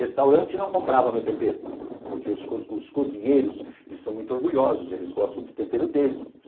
Restaurante não comprava meu tempero, porque os os cozinheiros, eles são muito orgulhosos, eles gostam do tempero deles.